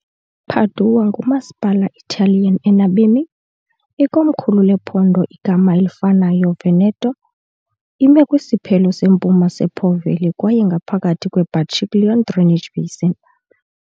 Padua ngumasipala Italian enabemi , ikomkhulu lephondo igama elifanayo Veneto .Ime kwisiphelo sempuma sePo Valley kwaye ngaphakathi kweBacchiglione drainage basin.